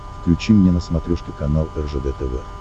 включи мне на смотрешке канал ржд тв